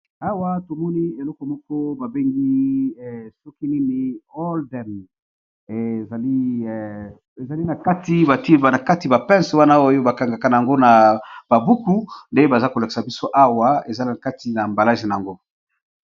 Awa tomoni eloko moko babengi soki nini all dem ezali nakati batie kati ba pince wana oyo bakangaka na yango na ba buku nde baza kolakisa biso awa ezali na kati na emballage na yango.